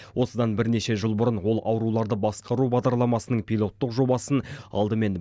осыдан бірнеше жыл бұрын ол ауруларды басқару бағдарламасының пилоттық жобасын алдымен